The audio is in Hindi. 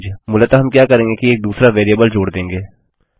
मूलतः हम क्या करेंगे कि एक दूसरा वेरिएबल जोड़ देंगे